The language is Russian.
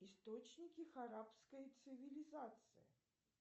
источники арабской цивилизации